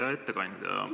Hea ettekandja!